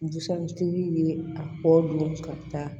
Busan tigi ye a kɔ don ka taa